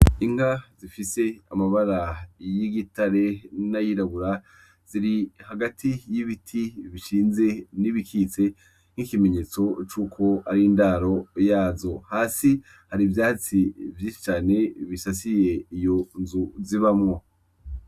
Inka zifise amabara y'igitare, n'ayirabura, ziri hagati y'ibiti bishinze, n'ibikitse, nkikimenyetso cuko ari indaro yazo, hasi hari ivyatsi vyinshi cane bisasiye iyo nzu zibamwo.